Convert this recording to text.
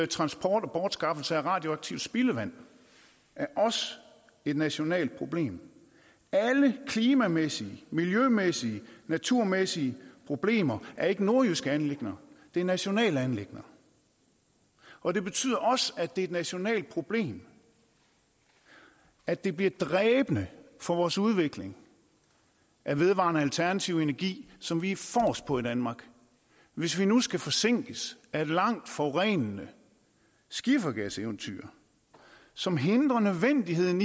transport og bortskaffelse af radioaktivt spildevand er også et nationalt problem alle klimamæssige miljømæssige naturmæssige problemer er ikke nordjyske anliggender men nationale anliggender og det betyder også at det er et nationalt problem at det bliver dræbende for vores udvikling af vedvarende alternativ energi som vi er forrest på i danmark hvis vi nu skal forsinkes af et langt forurenende skifergaseventyr som hindrer nødvendigheden